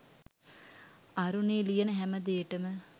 අරුණි ලියන හැම දේටම